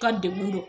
Ka degun dɔn